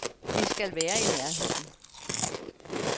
Vi skal være i nærheden.